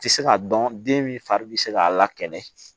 Tɛ se k'a dɔn den min fari bɛ se k'a la kɛnɛ